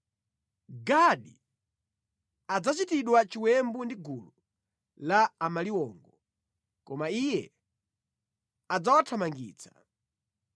“Gadi adzachitidwa chiwembu ndi gulu la amaliwongo, koma iye adzawathamangitsa.